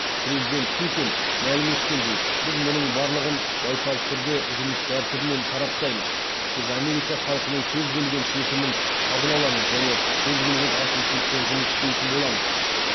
президент путин мәлім еткендей біз мұның барлығын байсалды түрде жұмыс тәртібімен сараптаймыз біз америка халқының кез келген шешімін қабыл аламыз және кез келген әкімшілікпен жұмыс істейтін боламыз